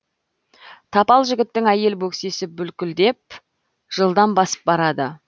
тапал жігіттің әйел бөксесі бүлкілдеп жылдам басып барады